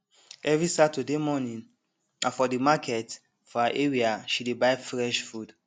every saturday morning na for the market for her area she dey buy fresh food